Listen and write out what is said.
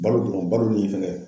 Balo dɔrɔn, balo nin fɛn kɛ